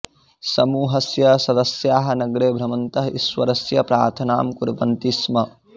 समूहस्य सदस्याः नगरे भ्रमन्तः ईश्वरस्य प्रार्थनां कुर्वन्ति स्म